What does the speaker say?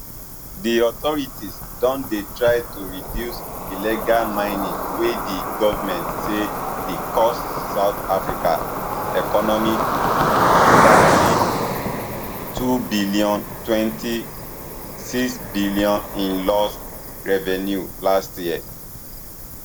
di authorities don dey try to reduce illegal mining wey di govment say di cost south africa economy thirty-twobn twenty-sixbn in lost revenue last year